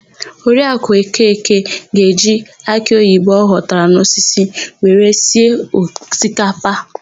Oriakụ Okeke ga-eji akịoyibo ọ ghọtara n'osisi ya wee sie osikapa.